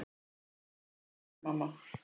Þú situr á honum, amma!